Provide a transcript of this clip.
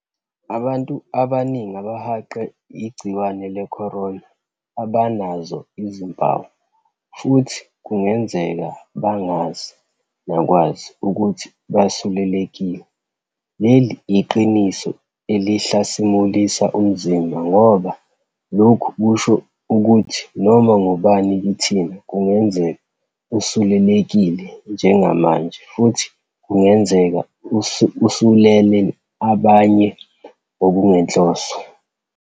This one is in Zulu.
Abantu abaningi abahaqwe igciwane le-corona abanazo izimpawu futhi kungenzeka bangazi nakwazi ukuthi basulelekile. Leli iqiniso elihlasimulisa umzimba ngoba lokhu kusho ukuthi noma ngubani kithina kungenzeka usulelekile njengamanje futhi kungenzeka usulele abanye ngokungenhloso.